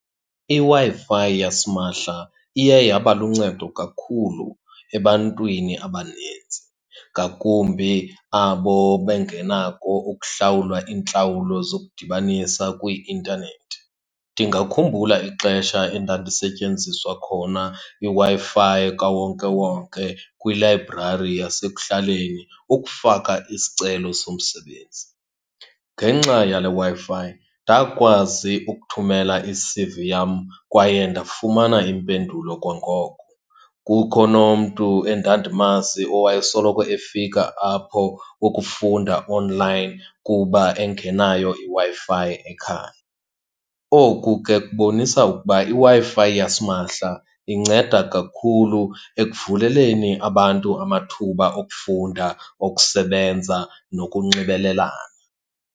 IWi-Fi yasimahla iye yaba luncedo kakhulu ebantwini abanintsi, ngakumbi abo bengenakho ukuhlawula iintlawulo zokudibanisa kwi-intanethi. Ndingakhumbula ixesha endandisetyenziswa khona iWi-Fi kawonkewonke kwilayibrari yasekuhlaleni ukufaka isicelo somsebenzi. Ngenxa yale Wi-Fi ndakwazi ukuthumela i-C_V yam kwaye ndafumana impendulo kwangoko. Kukho nomntu endandimazi owayesoloko efika apho ukufunda onlayini kuba engenayo iWi-Fi ekhaya. Oku ke kubonisa ukuba iWi-Fi yasimahla inceda kakhulu ekuvuleleni abantu amathuba okufunda, okusebenza, nokunxibelelana.